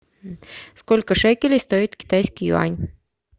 сколько шекелей стоит китайский юань